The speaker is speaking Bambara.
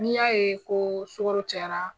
N'i y'a ye ko sukoro cayara.